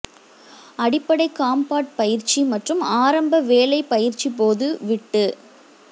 அடிப்படை காம்பாட் பயிற்சி மற்றும் ஆரம்ப வேலை பயிற்சி போது விட்டு